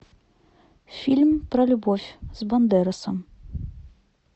фильм про любовь с бандеросом